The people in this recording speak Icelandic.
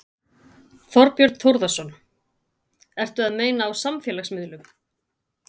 Þorbjörn Þórðarson: Eru að meina á samfélagsmiðlum?